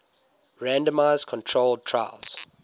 randomized controlled trials